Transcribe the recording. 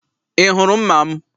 I hụrụ mma m?